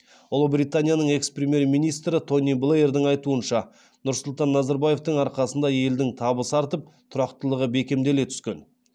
ұлыбританияның экс премьер министрі тони блэердің айтуынша нұрсұлтан назарбаевтың арқасында елдің табысы артып тұрақтылығы бекемделе түскен